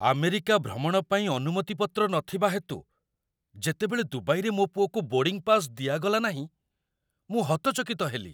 America ଭ୍ରମଣ ପାଇଁ ଅନୁମତିପତ୍ର ନଥିବା ହେତୁ, ଯେତେବେଳେ ଦୁବାଇରେ ମୋ ପୁଅକୁ ବୋର୍ଡ଼ିଙ୍ଗ ପାସ୍ ଦିଆଗଲା ନାହିଁ, ମୁଁ ହତଚକିତ ହେଲି।